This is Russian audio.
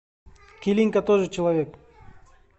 келинка тоже человек